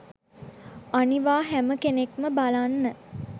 අනිවා හැම කෙනෙක්ම බලන්න